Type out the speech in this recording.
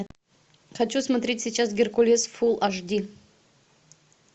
хочу смотреть сейчас геркулес фул аш ди